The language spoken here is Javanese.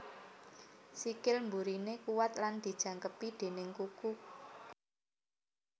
Sikil mburiné kuwat lan dijangkepi déning kuku kuku dawa